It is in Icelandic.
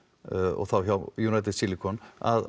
og þá hjá United Silicon